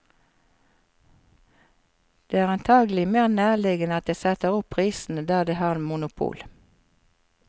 Det er antagelig mer nærliggende at de setter opp prisene der de har monopol.